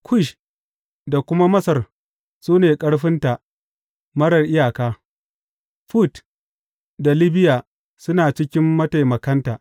Kush da kuma Masar su ne ƙarfinta marar iyaka; Fut da Libiya suna cikin mataimakanta.